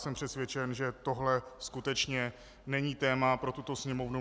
Jsem přesvědčen, že tohle skutečně není téma pro tuto Sněmovnu.